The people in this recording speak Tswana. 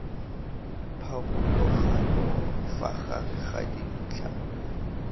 pharologanyo fa gare ga dintlha